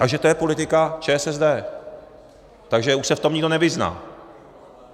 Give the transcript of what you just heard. Takže to je politika ČSSD, takže už se v tom nikdo nevyzná.